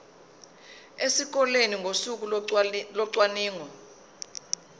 esikoleni ngosuku locwaningo